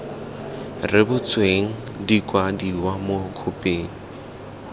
rebotsweng di kwadiwa mo khophing